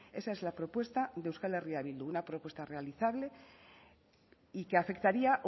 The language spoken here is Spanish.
esa es la propuesta de euskal herria bildu una propuesta realizable y que afectaría